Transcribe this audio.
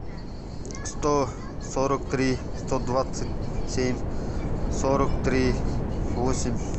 сто сорок три сто двадцать семь сорок три восемь